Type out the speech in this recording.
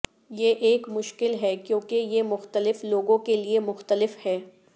یہ ایک مشکل ہے کیونکہ یہ مختلف لوگوں کے لئے مختلف ہے